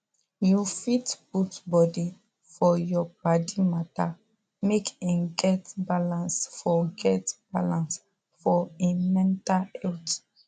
you fit put body for your paddy matter make him get balance for get balance for him mental health